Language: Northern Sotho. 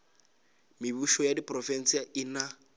mebušo ya diprofense e na